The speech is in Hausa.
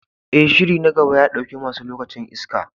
E, shirin na gaba ya ɗauke masu lokacin iska.